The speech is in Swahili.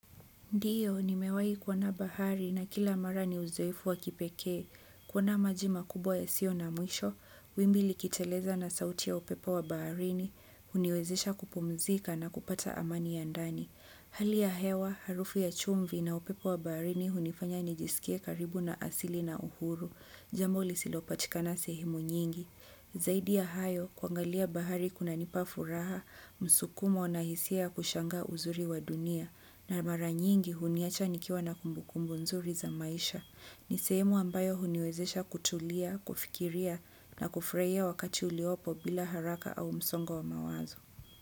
Ndio nimewahi kuona bahari na kila mara ni uzoefu wa kipekee. Kuona maji makubwa yasiyo na mwisho, wimbi likiteleza na sauti ya upepo wa baharini, huniwezesha kupumzika na kupata amani ya ndani. Hali ya hewa, harufu ya chumvi na upepo wa baharini hunifanya nijisikie karibu na asili na uhuru. Jambo lisilopatikana sehemu nyingi. Zaidi ya hayo, kuangalia bahari kunanipa furaha, msukumo na hisia ya kushangaa uzuri wa dunia. Na mara nyingi huniacha nikiwa na kumbukumbu nzuri za maisha. Ni sehemu ambayo huniwezesha kutulia, kufikiria na kufurahia wakati uliopo bila haraka au msongo wa mawazo.